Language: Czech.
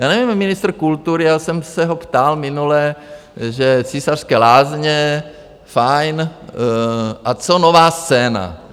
Já nevím, ministr kultury, já jsem se ho ptal minule, že Císařské lázně fajn, a co Nová scéna?